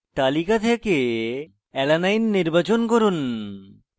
তালিকা থেকে alanine নির্বাচন করুন